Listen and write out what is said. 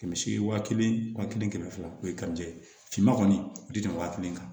Kɛmɛ seegin waa kelen waa kelen kɛmɛ fila o ye finma kɔni o tɛ tɛmɛ waa kelen kan